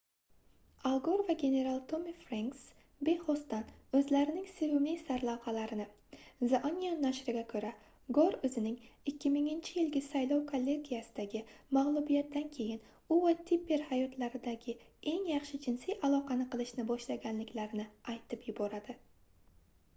al gor va general tommi frenks bexosdan o'zlarining sevimli sarlavhalarini the onion nashriga ko'ra gor o'zining 2000-yilgi saylov kollegiyasidagi mag'lubiyatidan keyin u va tipper hayotlaridagi eng yaxshi jinsiy aloqani qilishni boshlaganliklarini aytib yuboradi